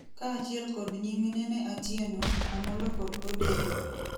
kaachiel kod nyiminene Atieno, Amollo kod Odeyo